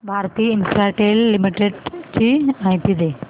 Bharti Infratel limited ची माहिती दे